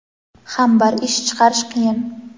ham bir ish chiqarish qiyin.